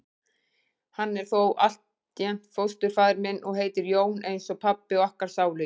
Hann er þó altént fósturfaðir minn. og heitir Jón eins og pabbi okkar sálugi.